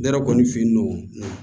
Ne yɛrɛ kɔni fe yen nɔ